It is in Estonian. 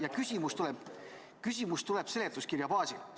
Ja küsimus tuleb seletuskirja baasil.